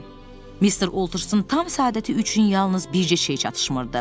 Mr. Ultersin tam səadəti üçün yalnız bircə şey çatışmırdı.